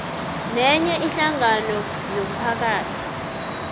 nenye ihlangano yomphakathi